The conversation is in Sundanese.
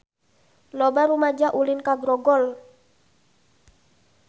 Loba rumaja ulin ka Grogol